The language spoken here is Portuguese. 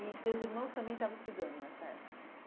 E teus irmãos também estavam estudando nessa época?